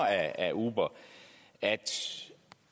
af uber at